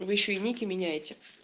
вы ещё и ники меняете